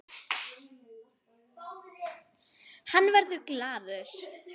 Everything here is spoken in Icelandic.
Hann verður glaður.